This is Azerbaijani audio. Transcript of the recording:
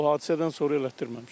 O hadisədən sonra elətdirməmişəm.